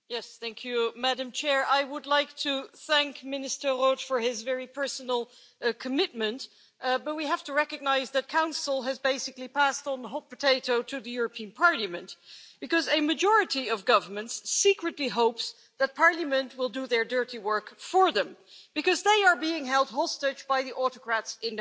Madam President, I would like to thank Minister Roth for his very personal commitment, but we have to recognise that Council has basically passed on the hot potato to the European Parliament because a majority of governments secretly hopes that Parliament will do their dirty work for them, because they are being held hostage by the autocrats in their midst.